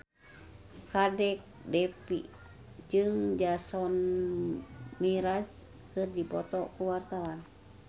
Kadek Devi jeung Jason Mraz keur dipoto ku wartawan